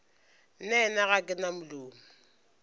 nnaena ga ke na molomo